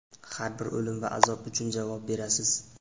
Har bir o‘lim va azob uchun javob berasiz.